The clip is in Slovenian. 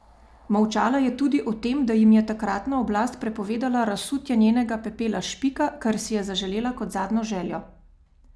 Molčala je tudi o tem, da jim je takratna oblast prepovedala razsutje njenega pepela s Špika, kar si je zaželela kot zadnjo željo.